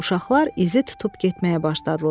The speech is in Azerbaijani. Uşaqlar izi tutub getməyə başladılar.